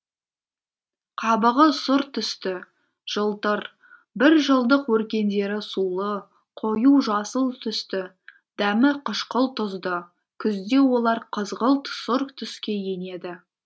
қабығы сұр түсті жылтыр бір жылдық өркендері сулы қою жасыл түсті дәмі қышқыл тұзды күзде олар қызғылт сұр түске енеді